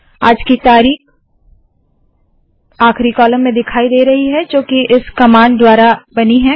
आज की तारीख आखरी कॉलम दिखाई दे रहे है जोकि इस कमांड द्वारा बनी है